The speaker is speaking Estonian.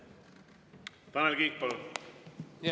Tanel Kiik, palun!